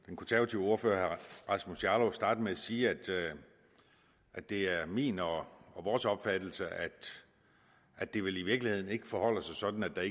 den konservative ordfører herre rasmus jarlov sagde starte med at sige at det er min og vores opfattelse at det vel i virkeligheden forholder sig sådan at